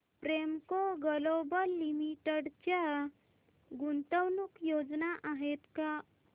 Premco global limited च्या गुंतवणूक योजना आहेत का